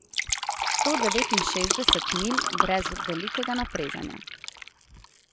Sto devetinšestdeset milj brez velikega naprezanja.